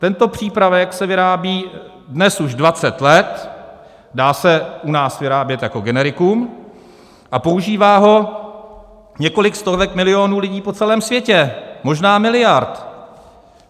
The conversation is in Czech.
Tento přípravek se vyrábí dnes už 20 let, dá se u nás vyrábět jako generikum a používá ho několik stovek milionů lidí po celém světě, možná miliard.